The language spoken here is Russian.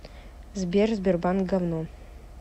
сбер сбербанк гавно